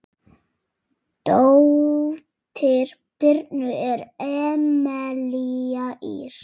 Dóttir Birnu er Emelía Ýr.